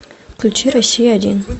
включи россия один